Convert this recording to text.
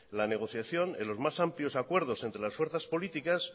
la negociación en los más amplios acuerdos entre las fuerzas políticas